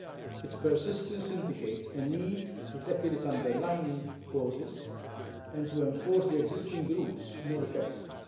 Its persistence indicates a need to tackle the underlying causes and to enforce the existing rules more effectively.